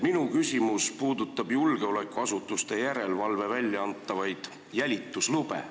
Minu küsimus puudutab julgeolekuasutuste järelevalve välja antavaid jälituslube.